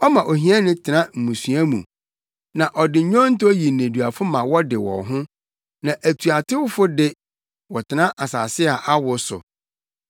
Ɔma ohiani tena mmusua mu, na ɔde nnwonto yi nneduafo ma wɔde wɔn ho; na atuatewfo de, wɔtena asase a awo so.